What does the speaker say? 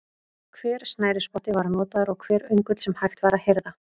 Hver snærisspotti var notaður og hver öngull sem hægt var að hirða.